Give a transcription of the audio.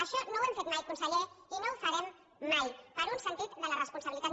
això no ho hem fet mai conseller i no ho farem mai per un sentit de la responsabilitat